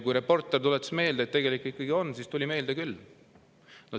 Kui reporter tuletas meelde, et tegelikult ikkagi on, siis tuli meelde küll.